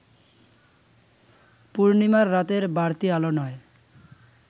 পূর্ণিমার রাতের বাড়তি আলো নয়